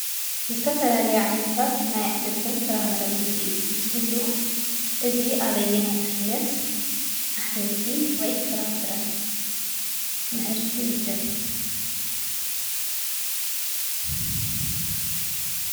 ዝተፈላለዩ ዓይነታት ናይ አሕምልትን ፍራምረን ውፅኢት እንትህልዎ እዚ አብየናይ ዓይነት አሕምልቲ ወይ ፍራ ፍረ ምህርቲ ይምደብ?